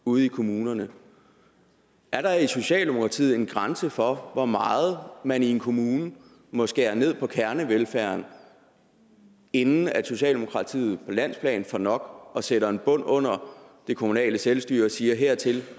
ude i kommunerne er der i socialdemokratiet en grænse for hvor meget man i en kommune må skære ned på kernevelfærden inden socialdemokratiet på landsplan får nok og sætter en bund under det kommunale selvstyre og siger hertil